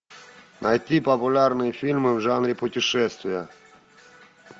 найти популярные фильмы в жанре путешествия